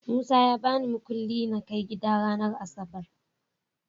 Musa ya babi mukuli nakai gida ranar asabar